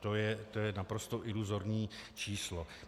To je naprosto iluzorní číslo.